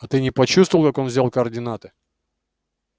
а ты не почувствовал как он взял координаты